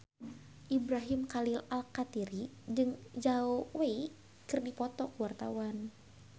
Ibrahim Khalil Alkatiri jeung Zhao Wei keur dipoto ku wartawan